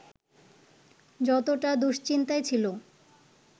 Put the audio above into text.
যতটা দুশ্চিন্তায় ছিল